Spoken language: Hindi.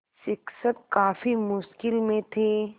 शिक्षक काफ़ी मुश्किल में थे